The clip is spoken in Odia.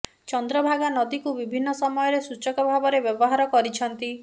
ଚନ୍ଦ୍ରଭାଗା ନଦୀକୁ ବିଭିନ୍ନ ସମୟରେ ସୂଚକ ଭାବରେ ବ୍ୟବହାର କରିଛନ୍ତି